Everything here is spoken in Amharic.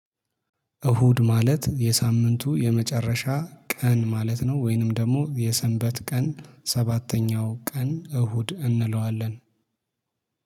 እሁድ ማለት የሳምንቱ የመጨረሻ ቀን ማለት ነው ወይንም ደግሞ የሰንበት ቀን ሰባተኛው ቀን እሁድ እንለዋለን።